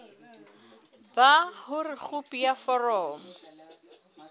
ba hore khopi ya foromo